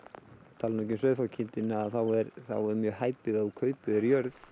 tala nú ekki um sauðfjárkindina þá er mjög hæpið að þú kaupir þér jörð